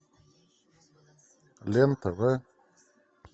лен тв